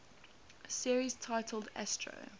series titled astro